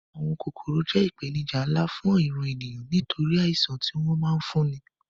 Àwọn kòkòrò jẹ́ ìpèníjà nlá fún ìran ènìyàn nítorí àìṣàn tí wọ́n ma ń fúnni